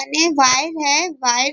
अने वायर है वायर --